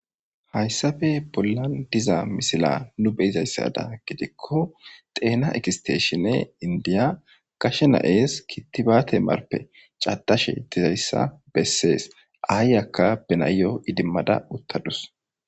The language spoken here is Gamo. Hayssafe bollan diza misila nu beyizayssada gidikko xeena ekisteshinne indiya kashe na7ees kittibaate marpe catashe dizayssa bessees aayyakka benayyo idimmada uttadus.